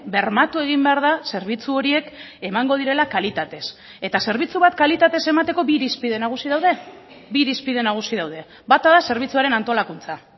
bermatu egin behar da zerbitzu horiek emango direla kalitatez eta zerbitzu bat kalitatez emateko bi irizpide nagusi daude bi irizpide nagusi daude bata da zerbitzuaren antolakuntza